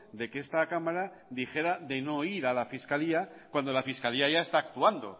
de que esta cámara dijera de no ir a la fiscalía cuando la fiscalía ya está actuando